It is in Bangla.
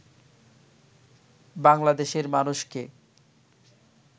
বাংলাদেশের মানুষকে